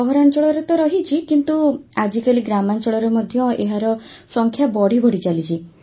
ସହରାଞ୍ଚଳରେ ତ ରହିଛି କିନ୍ତୁ ଆଜିକାଲି ଗ୍ରାମାଞ୍ଚଳରେ ମଧ୍ୟ ଏହାର ସଂଖ୍ୟା ବଢ଼ି ବଢ଼ି ଚାଲିଛି